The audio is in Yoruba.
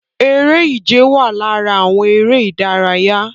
Eré ìje wà lára àwọn eré ìdárayá